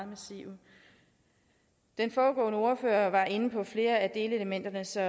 massive den foregående ordfører var inde på flere af delelementerne så